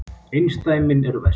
Einsdæmin eru verst.